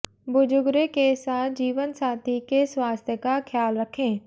बुजुगरे के साथ जीवन साथी के स्वास्थ्य का ख्याल रखें